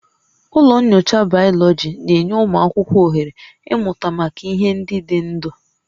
Ụlọ nyocha Bayoloji na-enye ụmụ akwụkwọ ohere ịmụta maka ihe ndị dị ndụ